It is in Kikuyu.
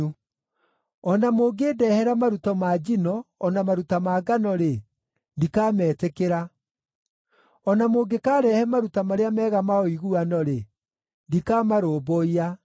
O na mũngĩndehera maruta ma njino, na maruta ma ngano-rĩ, ndikametĩkĩra. O na mũngĩkarehe maruta marĩa mega ma ũiguano-rĩ, ndikamarũmbũiya.